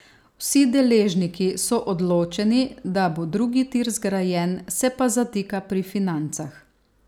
Vsi deležniki so odločeni, da bo drugi tir zgrajen, se pa zatika pri financah.